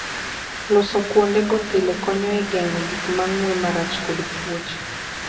Loso kuondego pile konyo e geng'o gik ma ng'we marach kod tuoche.